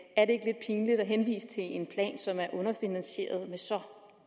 og henvise til en plan som er underfinansieret med så